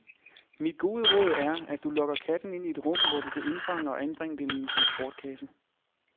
Mit gode råd er, at du lokker katten ind i et rum, hvor du kan indfange og anbringe den i en transportkasse.